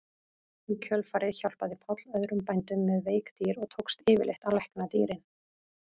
Í kjölfarið hjálpaði Páll öðrum bændum með veik dýr og tókst yfirleitt að lækna dýrin.